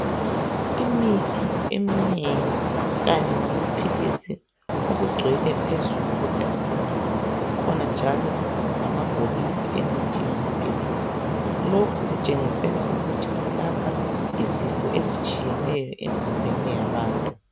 Imithi eminengi kanye lamaphilisi okugcwele phezulu kwetafula. Kukhona njalo lamabhokisi emithi yamaphilisi. Lokhu kutshengisela ukuthi kulapha izifo ezitshiyeneyo emzimbeni yabantu